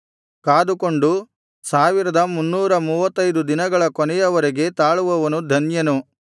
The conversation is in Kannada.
ಕಾದುಕೊಂಡು ಸಾವಿರದ ಮುನ್ನೂರ ಮೂವತ್ತೈದು ದಿನಗಳ ಕೊನೆಯವರೆಗೆ ತಾಳುವವನು ಧನ್ಯನು